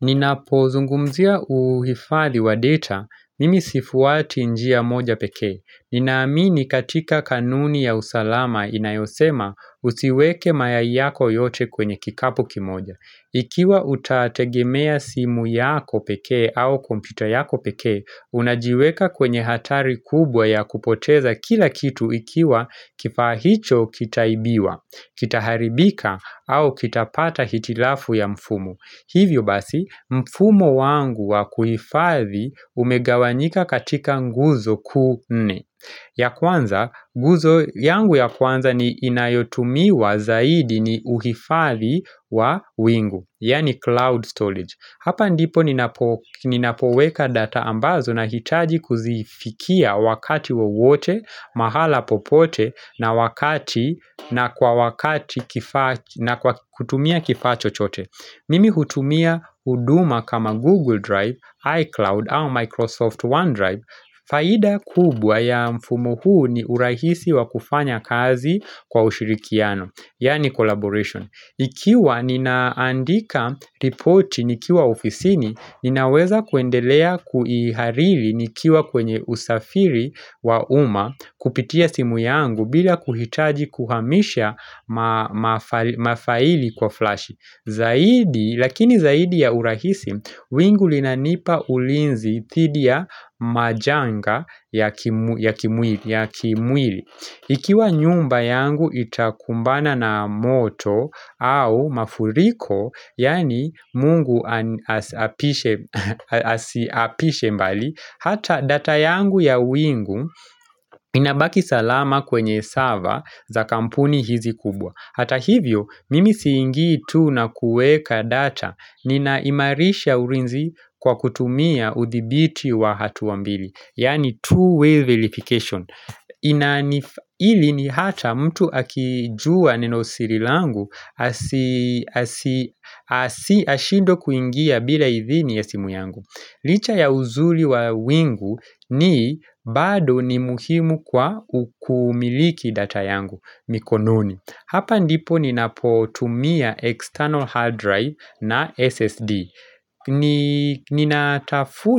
Nina pozungumzia uhifadhi wa data, mimi sifuati njia moja pekee. Ninaamini katika kanuni ya usalama inayosema usiweke mayai yako yote kwenye kikapu kimoja. Ikiwa utategemea simu yako pekee au kompyuta yako pekee, unajiweka kwenye hatari kubwa ya kupoteza kila kitu ikiwa kifaahicho kitaibiwa, kitaharibika au kitapata hitilafu ya mfumo Hivyo basi, mfumo wangu wa kuhifathi umegawanyika katika nguzo kuunne. Ya kwanza, nguzo yangu ya kwanza ni inayotumiwa zaidi ni uhifathi wa wingu, yaani cloud storage. Hapa ndipo ninapoweka data ambazo na hitaji kuzifikia wakati wowote, mahala popote na wakati na kwakutumia kifaachochote. Mimi hutumia huduma kama Google Drive, iCloud au Microsoft OneDrive Faida kubwa ya mfumo huu ni urahisi wa kufanya kazi kwa ushirikiano Yaani collaboration Ikiwa ninaandika repoti nikiwa ofisini Ninaweza kwendelea kuihariri nikiwa kwenye usafiri wa umma Kupitia simu yangu bila kuhitaji kuhamisha mafaili kwa flash Zaidi, lakini zaidi ya urahisi, wingu linanipa ulinzi dhidiya majanga ya kimwili Ikiwa nyumba yangu itakumbana na moto au mafuriko, yaani mungu asiapishe mbali Hata data yangu ya wingu inabaki salama kwenye sava za kampuni hizi kubwa Hata hivyo, mimi siingi tu na kuweka data ni na imarisha ulinzi kwa kutumia udhibiti wa hatuambili Yani two way verification hili ni hata mtu akijua neno sirilangu, ashindwe kuingia bila idhini ya simu yangu Licha ya uzuri wa wingu ni bado ni muhimu kwa ukumiliki data yangu, mikononi Hapa ndipo ninapotumia external hard drive na SSD